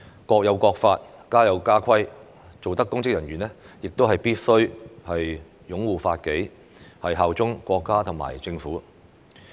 "國有國法，家有家規"，凡擔任公職人員，必須擁護法紀、效忠國家和政府。